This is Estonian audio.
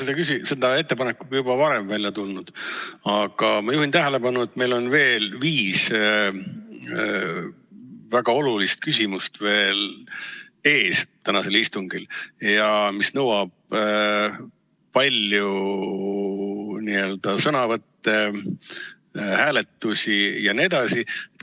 Ma olen selle ettepanekuga juba varem välja tulnud, aga ma juhin tähelepanu, et meil on veel viis väga olulist küsimust ees tänasel istungil, mis nõuavad palju sõnavõtte, hääletusi jne.